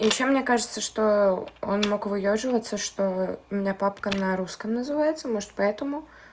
ещё мне кажется что он мог выёживаться что у меня папка на русском называется может поэтому